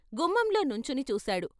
గుమ్మంలో నుంచుని చూశాడు.